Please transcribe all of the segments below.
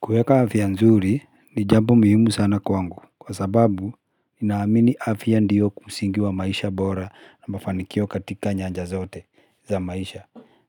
Kuweka afya nzuri ni jambo muhumu sana kwangu kwa sababu naamini afya ndiyo kusingiwa maisha bora na mafanikio katika nyanja zote za maisha.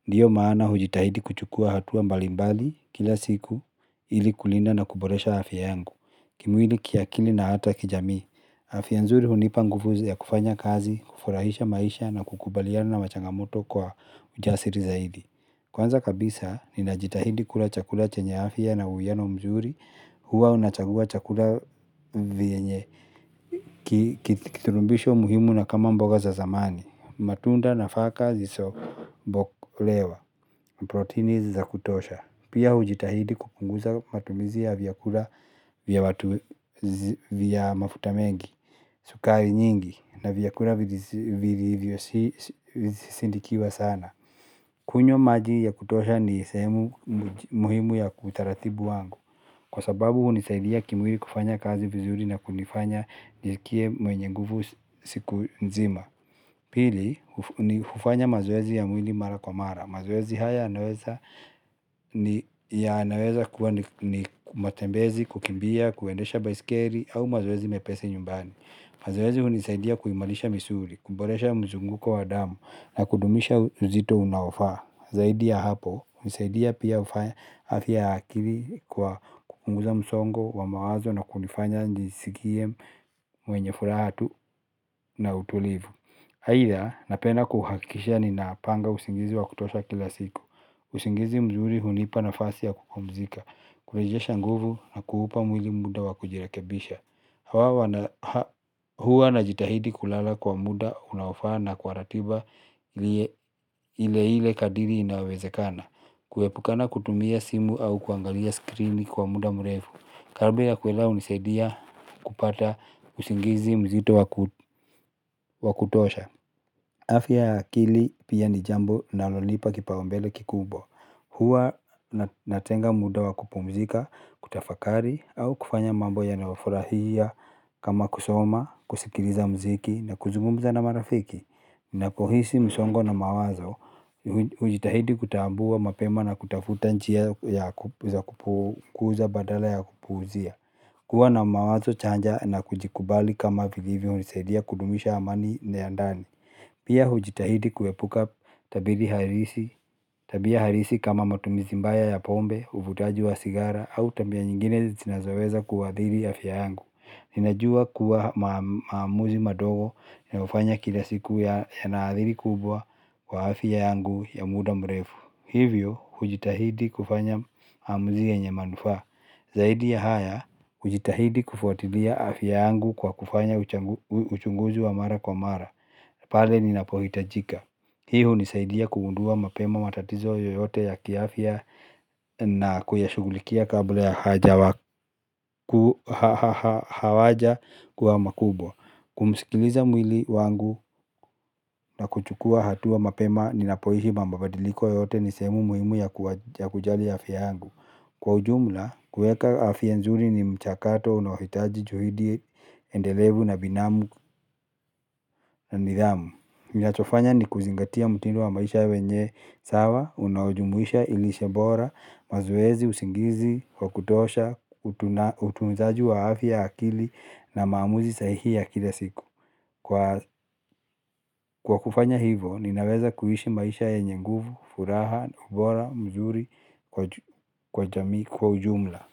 Ndiyo maana hujitahidi kuchukua hatua mbalimbali kila siku ili kulinda na kuboresha afya yangu. Kimwili kiakili na hata kijami, afya nzuri hunipa nguvu ya kufanya kazi, kufurahisha maisha na kukubaliana na changamoto kwa ujasiri zaidi. Kwanza kabisa, ninajitahidi kula chakula chenye afya na uwiano mzuri, huwa nachagua chakula chenye kiturumbisho muhimu na kama mboga za zamani. Matunda nafaka zisobokolewa, protini za kutosha. Pia hujitahidi kupunguza matumizi ya vyakula vya mafuta mengi, sukari nyingi na vyakula vizisindikiwa sana. Kunywa maji ya kutosha ni sehemu muhimu ya utaratibu wangu. Kwa sababu hunisaidia kimwili kufanya kazi vizuri na kunifanya nijisikie mwenye nguvu siku nzima. Pili, hufanya mazoezi ya mwili mara kwa mara. Mazoezi haya yanaweza kuwa ni matembezi, kukimbia, kuendesha baisikeli au mazoezi mepesi nyumbani. Mazoezi hunisaidia kuimarisha misuli, kuboresha mzunguko wa damu na kudumisha uzito unaofaa. Zaidi ya hapo, husaidia pia hufanya afya ya akili kwa kupunguza msongo wa mawazo na kunifanya nijisikie mwenye furaha tu na utulivu. Haidha, napenda kuhakisha ni napanga usingizi wa kutosha kila siku. Usingizi mzuri hunipa na fasi ya kupumzika, kurejesha nguvu na kuupa mwili muda wa kujirekebisha. Huwa na jitahidi kulala kwa muda unaofaa na kwa ratiba ile ile kadiri inawezekana. Kuepukana kutumia simu au kuangalia skreeni kwa muda mrefu Karabe ya kuelewa hunisaidia kupata kusingizi mzito wa kutosha. Afya ya akili pia ni jambo linalonipa kipaumbele kikubwa. Huwa natenga muda wa kupumzika, kutafakari au kufanya mambo ya nayofurahia kama kusoma, kusikiliza mziki na kuzumumza na marafiki. Na kuhisi msongo na mawazo, hujitahidi kutambua mapema na kutafuta njia ya kukuza badala ya kukuuzia. Kuwa na mawazo chanya na kujikubali kama vilivyo hunisaidia kudumisha amani ile ya ndani. Pia hujitahidi kuepuka tabiri harisi, tabia halisi kama matumizi mbaya ya pombe, uvutaji wa sigara au tabia nyingine zinazoweza kuadhiri afya yangu. Ninajua kuwa maamuzi madogo yanafanya kila siku ya naadhiri kubwa kwa afya yangu ya muda mrefu. Hivyo, hujitahidi kufanya hamuzi yenye manufaa. Zaidi ya haya, hujitahidi kufuatilia afya yangu kwa kufanya uchunguzi wa mara kwa mara. Pale ninapohitajika. Hii hunisaidia kugundua mapema matatizo yoyote ya kiafya na kuyashughulikia kabla hayajakuwa makubwa. Kumsikiliza mwili wangu na kuchukua hatua mapema ninapoishi mabadiliko yote ni sehemu muhimu ya kujali ya afya yangu. Kwa ujumla, kuweka afya nzuri ni mchakato unaohitaji juhudi endelevu na binamu na nidhamu. Ninachofanya ni kuzingatia mtindo wa maisha wenye sawa, unaojumuisha lishe bora, mazoezi, usingizi, wa kutosha, utunzaji wa afya ya akili na maamuzi sahihi ya kila siku. Kwa kufanya hivo, ninaweza kuishi maisha yenye nguvu, furaha, ubora, mzuri, kwa ujumla.